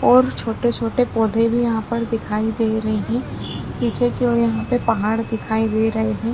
और छोटे छोटे पौधे भी यहाँपर दिखाई दे रहे है पीछे की और यहापे पहाड़ दिखाई दे रहे है।